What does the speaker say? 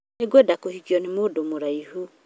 Nĩngwenda kũhikio na mũndũ mũraihu